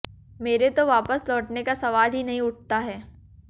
मेरे तो वापस लौटने का सवाल ही नहीं उठता है